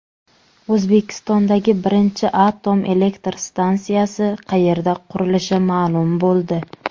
O‘zbekistondagi birinchi atom elektr stansiyasi qayerda qurilishi ma’lum bo‘ldi.